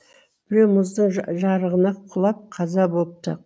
біреуі мұздың жарығына құлап қаза бопты